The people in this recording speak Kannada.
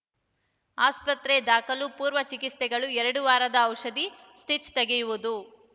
ಆಸ್ಪತ್ರೆದಾಖಲು ಪೂರ್ವ ಚಿಕಿತ್ಸೆಗಳು ಎರಡು ವಾರದ ಔಷಧಿ ಸ್ಟಿಚ್‌ ತೆಗೆಯುವುದು